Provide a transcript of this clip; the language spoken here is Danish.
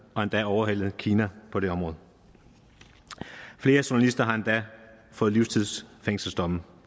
har endda overhalet kina på det område flere journalister har endda fået livstidsfængselsdomme